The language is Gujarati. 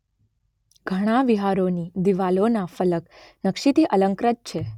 ઘણા વિહારોની દીવાલોના ફલક નક્શીથી અલંકૃત છે